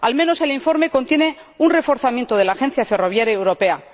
Al menos el informe contiene un reforzamiento de la Agencia Ferroviaria Europea.